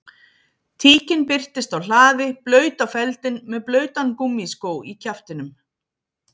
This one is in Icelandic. Tíkin birtist á hlaði blaut á feldinn með blautan gúmmískó í kjaftinum